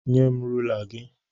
Nyem rula gị!